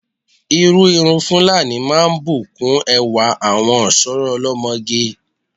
Irú irun Fúlàní máa ń bù kún ẹwà àwọn ọ̀ṣọ́rọ́ olọ́mọge.